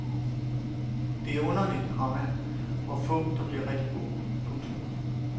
Det er underligt, komma hvor få der bliver rigtig gode. punktum